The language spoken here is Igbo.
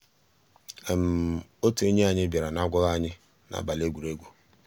ótú ényí ànyị́ biàrà n'àgwàghị́ ànyị́ n'àbàlí égwùrégwù.